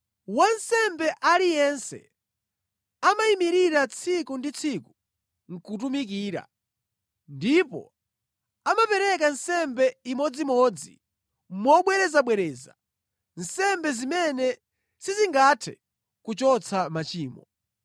Wansembe aliyense amayimirira tsiku ndi tsiku nʼkutumikira, ndipo amapereka nsembe imodzimodzi mobwerezabwereza, nsembe zimene sizingathe kuchotsa machimo.